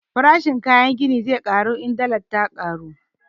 Farashin kayan gini zai ƙaru in dallar ya ƙaru